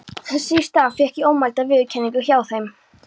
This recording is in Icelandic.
Þess í stað fékk ég ómælda viðurkenningu hjá þeim.